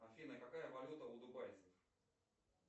афина какая валюта у дубайцев